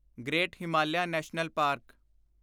great Himalayan National park